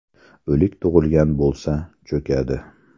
O‘lik tug‘ilgan bo‘lsa – cho‘kadi.